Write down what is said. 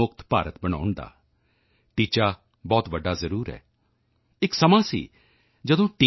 ਮੁਕਤ ਭਾਰਤ ਬਣਾਉਣ ਦਾ ਲਕਸ਼ ਬਹੁਤ ਵੱਡਾ ਜ਼ਰੂਰ ਹੈ ਇੱਕ ਸਮੇਂ ਸੀ ਜਦੋਂ ਟੀ